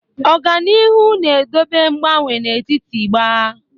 Ọga n'ihu na-edobe ngbanwe n'etiti gbaa.